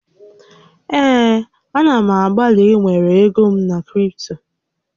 Ee, a na m agbalị ịwere ego m na kripto